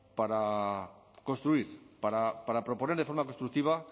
para construir para proponer de forma constructiva